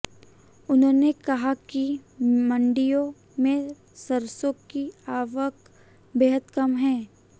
उन्होंने कहा कि मंडियों में सरसों की आवक बेहद कम है